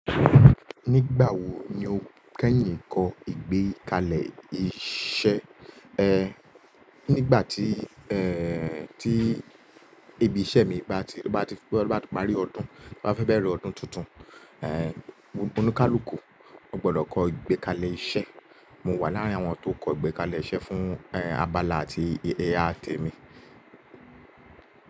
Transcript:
Nígbà wo ni o kẹ́yìn kọ́ ìgbékalẹ̀ iṣẹ́? Nígbà tí tí ibi iṣẹ́ mi bá ti bá ti bá ti parí ọdún, bá fẹ́ bẹ̀rẹ̀ ọdún tuntun, onikalukù, o gbọ́dọ̀ kọ ìgbékalẹ̀ iṣẹ́. Mo wà láàrin àwọn tó kọ ìgbékalẹ̀ iṣẹ́ fún abala àti ẹ̀ya te mi.